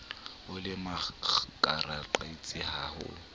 o le makaqabetsing ha ho